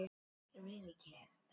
Söngur og saga.